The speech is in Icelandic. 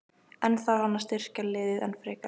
En þarf hann að styrkja liðið enn frekar?